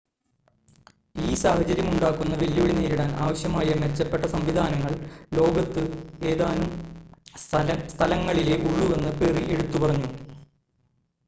ഈ സാഹചര്യം ഉണ്ടാക്കുന്ന വെല്ലുവിളി നേരിടാൻ ആവശ്യമായ മെച്ചപ്പെട്ട സംവിധാനങ്ങൾ ലോകത്ത് ഏതാനും സ്ഥലങ്ങളിലേ ഉള്ളൂവെന്ന് പെറി എടുത്തു പറഞ്ഞു